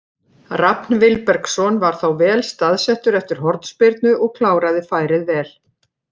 Rafn Vilbergsson var þá vel staðsettur eftir hornspyrnu og kláraði færið vel.